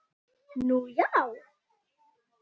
Nú, já?